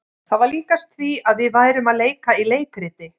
Það var líkast því að við værum að leika í leikriti.